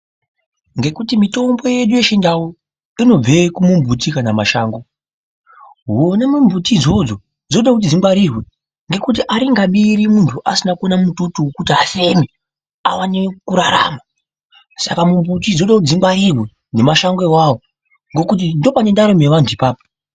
Ngekuti mitombo yedu yechindau inobve kumumbuti kana mashango huni mumbuti idzodzo dzinoda kuti dzingwarirwe ngekuti aringabiri muntu asina kuona mututu wekuti afeme aone kurarama Saka mumbuti dzinoda kuti dzingwarirwe nemashango awawo ngekuti ndopane ndaramo yevantu ipapo.